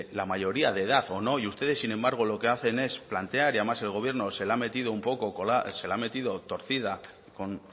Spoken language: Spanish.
la mayoría de edad o no y ustedes sin embargo lo que hacen es plantear y además el gobierno se la ha metido torcida con